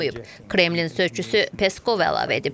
Kremlin sözçüsü Peskov əlavə edib.